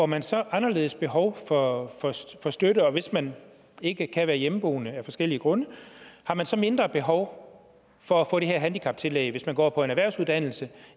man så et anderledes behov for støtte og hvis man ikke kan være hjemmeboende af forskellige grunde har man så mindre behov for at få det her handicaptillæg hvis man går på en erhvervsuddannelse